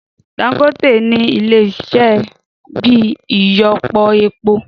Dangote nì Ilé iṣẹ́ ibi ìyọpọ epo